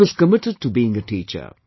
He was committed to being a teacher